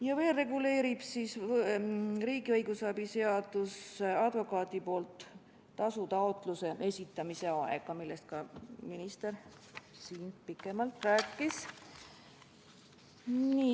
Ja veel reguleerib riigi õigusabi seadus advokaadi poolt tasu taotluse esitamise aega, millest ka minister siin pikemalt rääkis.